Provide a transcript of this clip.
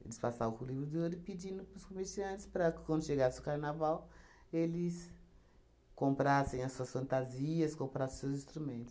Eles passavam com o livro de ouro e pedindo para os comerciantes para quando chegasse o carnaval, eles comprassem as suas fantasias, comprassem os seus instrumentos.